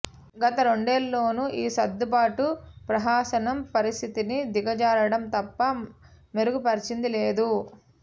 గత రెండేళ్లలోనూ ఈ సర్దుబాటు ప్రహసనం పరిస్థితిని దిగజార్చడం తప్ప మెరుగుపర్చింది లేదు